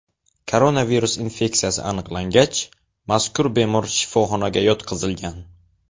Koronavirus infeksiyasi aniqlangach, mazkur bemor shifoxonaga yotqizilgan.